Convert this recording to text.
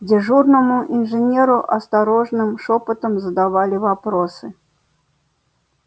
дежурному инженеру осторожным шёпотом задавали вопросы